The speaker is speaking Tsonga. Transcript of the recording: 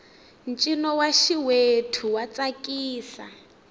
ncino wa xiwethu wa tsakisa